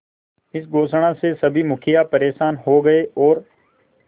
इस घोषणा से सभी मुखिया परेशान हो गए और